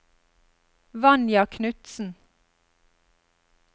Vanja Knutsen